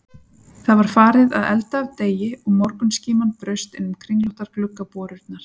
Það var farið að elda af degi og morgunskíman braust innum kringlóttar gluggaborurnar.